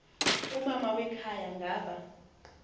umama wekhaya ngaba